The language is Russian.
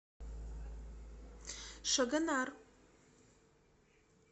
шагонар